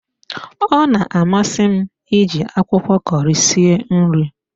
Ọ na amasi m iji akwụkwọ Kọri sie nri